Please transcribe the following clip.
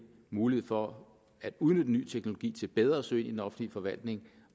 mulighed for at udnytte ny teknologi til bedre at søge i den offentlige forvaltning